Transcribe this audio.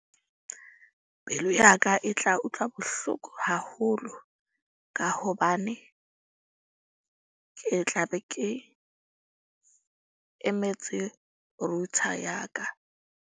Pelo ya ka e tla utlwa bohloko haholo, ka hobane ke tla be ke emetse router ya ka.